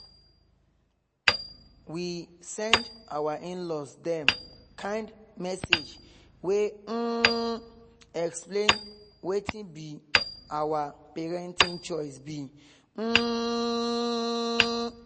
we send our in-laws dem kind message wey um explain wetin be our parenting choice be um